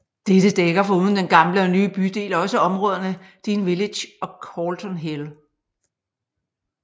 Dette dækker foruden den gamle og nye bydel også områderne Dean Village og Calton Hill